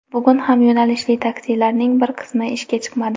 Bugun ham yo‘nalishli taksilarning bir qismi ishga chiqmadi.